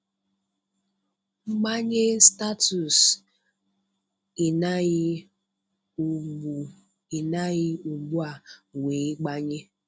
Mbanye Statusu Ị naghị ugbu Ị naghị ugbu a wee mbanye.